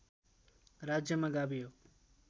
राज्यमा गाभियो